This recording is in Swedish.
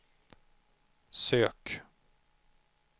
sök